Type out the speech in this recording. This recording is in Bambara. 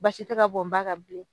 Basi te ka bɔn ba ka bilen